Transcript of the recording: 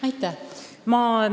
Aitäh!